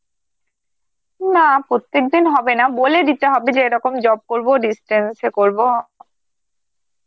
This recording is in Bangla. না প্রত্যেকদিন হবে না, বলে দিতে হবে যে এরকম job করবো, distance এ করব.